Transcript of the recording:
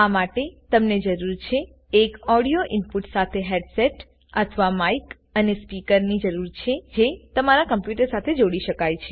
આ માટે તમને જરૂર છે એક ઓડિયો ઇનપુટ સાથે હેડસેટ અથવા માઈક અને સ્પીકરની જરૂર છે જે તમારા કમ્પ્યુટર સાથે જોડી શકાય છે